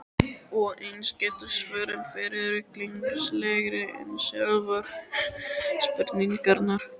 Og eins geta svörin verið ruglingslegri en sjálfar spurningarnar.